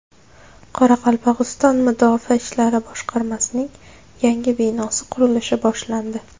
Qoraqalpog‘iston Mudofaa ishlari boshqarmasining yangi binosi qurilishi boshlandi.